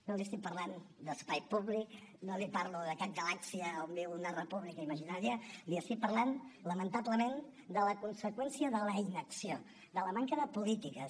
no li estic parlant d’espai públic no li parlo de cap galàxia on viu una república imaginària li estic parlant lamentablement de la conseqüència de la inacció de la manca de polítiques